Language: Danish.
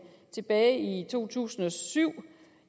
tilbage i to tusind og syv